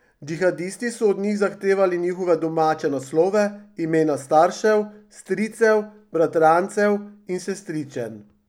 Džihadisti so od njih zahtevali njihove domače naslove, imena staršev, stricev, bratrancev in sestričen.